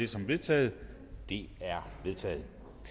som vedtaget det er vedtaget